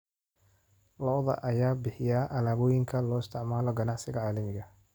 Lo'da lo'da ayaa bixiya alaabooyinka loo isticmaalo ganacsiga caalamiga ah.